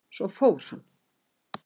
Svo fór hann.